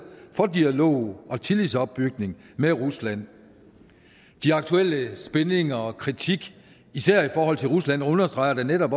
for dialog og tillidsopbygning med rusland de aktuelle spændinger og kritik især i forhold til rusland understreger netop